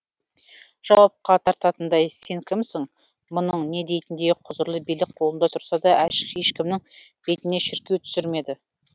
жауапқа тартатындай сен кімсің мұның не дейтіндей құзырлы билік қолында тұрса да ешкімнің бетіне шіркеу түсірмеді